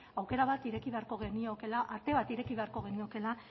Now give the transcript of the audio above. aukera bat ireki beharko geniokeela ate bat ireki beharko geniokeela